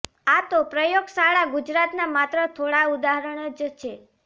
આ તો પ્રયોગશાળા ગુજરાતના માત્ર થોડા ઉદાહરણ જ છે